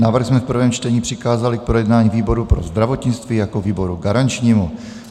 Návrh jsme v prvém čtení přikázali k projednání výboru pro zdravotnictví jako výboru garančnímu.